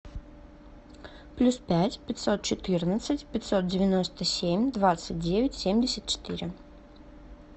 плюс пять пятьсот четырнадцать пятьсот девяносто семь двадцать девять семьдесят четыре